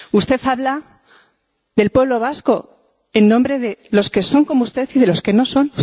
Usted habla del pueblo vasco, en nombre de los que son como usted y de los que no lo son.